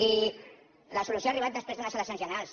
i la solució ha arribat després d’unes eleccions generals